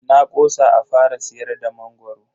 Na kosa a fara siyar da mangoro.